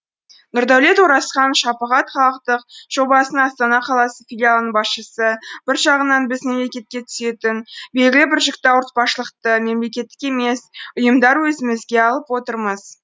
нұрдәулет оразхан шапағат халықтық жобасының астана қаласы филиалының басшысы бір жағынан біз мемлекетке түсетін белгілі бір жүкті ауыртпашылықты мемлекеттік емес ұйымдар өзімізге алып отырмыз